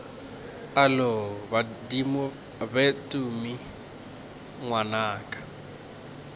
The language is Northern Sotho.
alo badimo be tumi ngwanaka